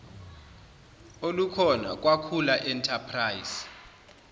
olukhona kwakhula enterprise